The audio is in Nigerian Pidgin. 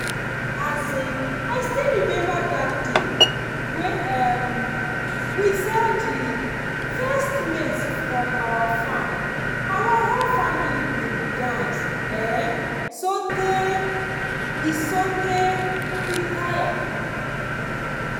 um i still remember that day wey um we sell the first maize from our farm. our whole family bin dance um soteh we soteh we tire.